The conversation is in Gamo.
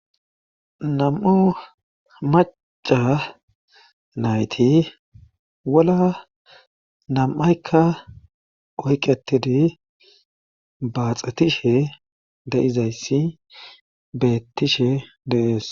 nam7u maca nayti wola nam7aykka oyqetidi baaxatishe de7izayssi beettishe dees